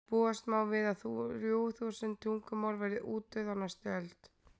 búast má við að þrjú þúsund tungumál verði útdauð á næstu öld